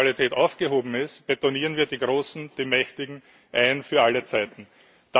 Wenn die Neutralität aufgehoben ist, betonieren wir die Großen, die Mächtigen, für alle Zeiten ein.